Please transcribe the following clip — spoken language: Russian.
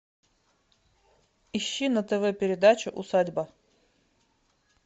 ищи на тв передачу усадьба